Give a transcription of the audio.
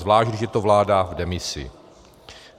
Zvlášť když je to vláda v demisi.